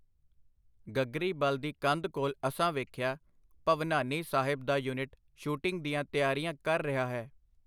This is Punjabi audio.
ਗਗਰੀਬਲ ਦੀ ਕੰਧ ਕੋਲ ਅਸਾਂ ਵੇਖਿਆ, ਭਵਨਾਨੀ ਸਾਹਿਬ ਦਾ ਯੁਨਿਟ ਸ਼ੂਟਿੰਗ ਦੀਆਂ ਤਿਆਰਿਆਂ ਕਰ ਰਿਹਾ ਹੈ.